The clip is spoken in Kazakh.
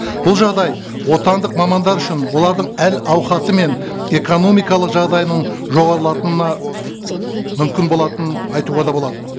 бұл жағдай отандық мамандар үшін олардың әл ауқаты мен экономикалық жағдайының мүмкін болатынын айтуға да болады